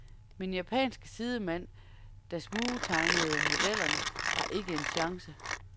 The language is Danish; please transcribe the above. Min japanske sidemand, der smugtegnede modellerne, har ikke en chance.